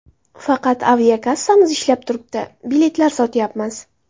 Faqat aviakassamiz ishlab turibdi., biletlar sotyapmiz.